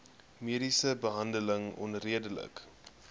mediese behandeling onredelik